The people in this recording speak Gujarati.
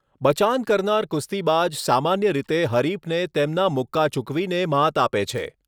બચાન કરનાર કુસ્તીબાજ સામાન્ય રીતે હરીફને તેમના મુક્કા ચૂકવીને મ્હાત આપે છે.